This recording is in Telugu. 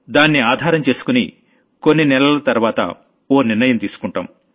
దాన్ని ఆధారం చేసుకుని కొన్ని నెలల తర్వాత ఓ నిర్ణయం తీసుకుంటాం